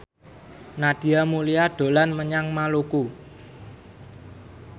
Nadia Mulya dolan menyang Maluku